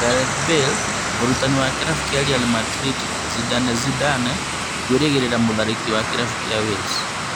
Gareth Bale mũrutani wa kĩrabu kĩa Real Madrid Zinedine Zidane "kwĩrĩgĩrĩra" mũtharĩkĩri wa kĩrabu kĩa Wales